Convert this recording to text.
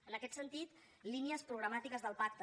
en aquest sentit línies programàtiques del pacte